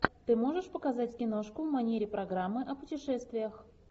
ты можешь показать киношку в манере программы о путешествиях